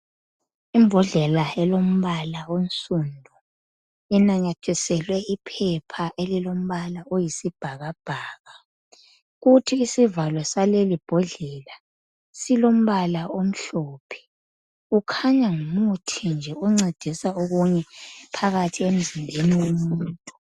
Imbodlela elombala onsundu enanyathiselwe iphepha elilombala oyisibhakabhaka, kuthi isivalo salelimbodlela silombala omhlophe. Kukhanya ngumuthi nje oncedisa okunye phakathi emzimbeni womuntu.